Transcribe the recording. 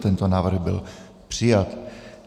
Tento návrh byl přijat.